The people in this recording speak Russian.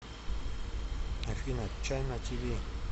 афина чайна ти ви